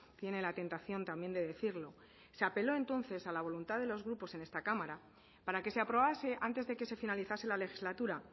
tiene la tentación también de decirlo se apeló entonces a la voluntad de los grupos en esta cámara para que se aprobase antes de que se finalizase la legislatura